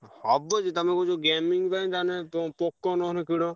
ହବ ଯେ ତମେ କହୁଛ gaming ପାଇଁ ତାହେଲେ ପ~ POCO ନହେଲେ କିଣ।